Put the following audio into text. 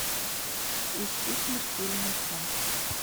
ищи смертельный сон